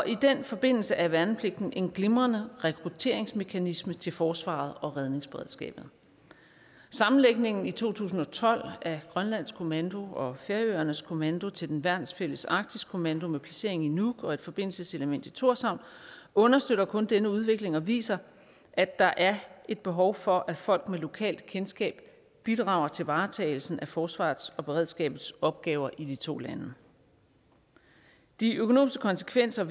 i den forbindelse er værnepligten en glimrende rekrutteringsmekanisme til forsvaret og redningsberedskabet sammenlægningen i to tusind og tolv af grønlands kommando og færøernes kommando til den værnsfælles arktisk kommando med placering i nuuk og et forbindelseselement i tórshavn understøtter kun den udvikling og viser at der er et behov for at folk med lokalkendskab bidrager til varetagelsen af forsvarets og beredskabets opgaver i de to lande de økonomiske konsekvenser